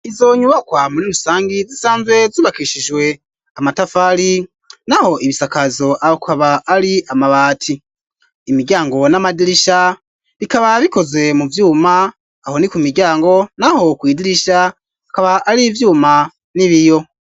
Izo nyubakwa muri rusangi zisanzwe zubakishijwe amatafari naho ibisakazo akaba ari amabati, imiryango n'amadirisha bikaba bikoze mu vyuma aho ni ku miryango naho kw'idirisha akaba ari vyuma n'ibiyo.